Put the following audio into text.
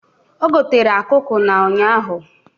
O gotere akụkụ na ụnyaahụ